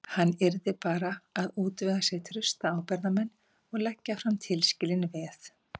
Hann yrði bara að útvega sér trausta ábyrgðarmenn og leggja fram tilskilin veð.